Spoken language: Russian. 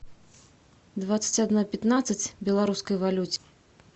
двадцать одна пятнадцать белорусской валюте